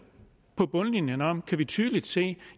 på bundlinjen handler om kan vi tydeligt se